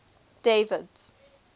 david's